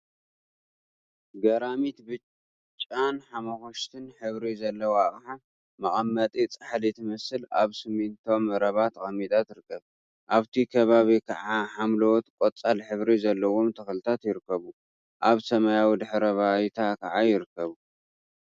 ገራሚት! ብጫን ሓመኩሽቲን ሕብሪ ዘለዋ አቅሓ/መቀመጢ ፃሕሊ ትመስል አብ ስሚንቶ መረባ ተቀሚጣ ትርከብ፡፡ አብቲ ከባቢ ከዓ ሓምለዎት ቆፃል ሕብሪ ዘለዎም ተክሊታት ይርከቡ፡፡ አብ ሰማያዊ ድሕረ ባይታ ከዓ ይርከቡ፡፡